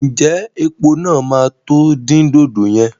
Ǹjẹ́ epo náà máa tó di dòdò yẹn?